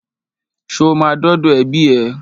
Ṣo ma dọ́dọ̀ ẹbí ẹ?